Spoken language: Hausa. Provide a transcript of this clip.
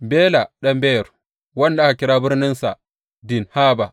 Bela ɗan Beyor, wanda aka kira birninsa Dinhaba.